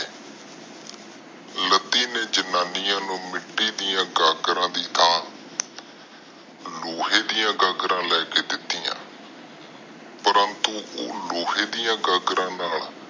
ਲੱਦੀ ਨੇ ਜਨਾਨੀਆਂ ਨੂੰ ਮਿਤੀ ਡਾ ਗਾਗਰ ਦੀ ਥਾਂ ਲੋਹੇ ਡਾ ਗਾਗਰ ਲੈ ਕੇ ਦਿਤੀਆਂ ਪਰੰਤੂ ਉੱਗ ਲੋਹੇ ਡਾ ਗਾਗਰ ਦਾ